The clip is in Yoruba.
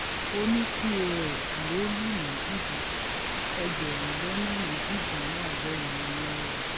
òní pọ́s ló lù ní jìbìtì ẹgbẹ̀rún lọ́nà méjìdínláàádọ́rùn-ún náírà